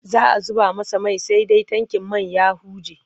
Za a zuba masa mai sai dai tankin man ya huje.